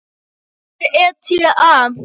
Hvað er ETA?